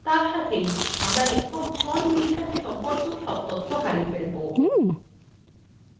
এবং এর সাথেই আমরা লেখক john milton সম্পর্কেও তথ্য হারিয়ে ফেলব